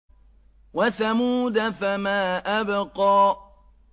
وَثَمُودَ فَمَا أَبْقَىٰ